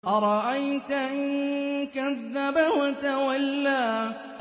أَرَأَيْتَ إِن كَذَّبَ وَتَوَلَّىٰ